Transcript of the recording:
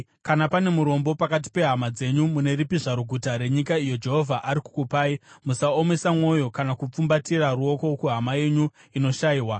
Kana pane murombo pakati pehama dzenyu mune ripi zvaro guta renyika iyo Jehovha ari kukupai musaomesa mwoyo kana kupfumbatira ruoko kuhama yenyu inoshayiwa.